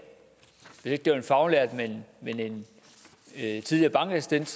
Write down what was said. hvis ikke det var en faglært men en tidligere bankassistent